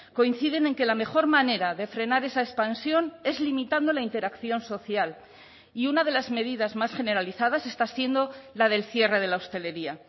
coinciden en que la mejor manera de frenar esa expansión es limitando la interacción social y una de las medidas más generalizadas está siendo la del cierre de la hostelería